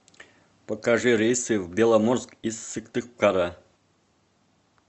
покажи рейсы в беломорск из сыктывкара